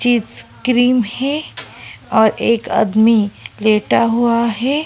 चीज क्रीम है और एक आदमी लेटा हुआ है।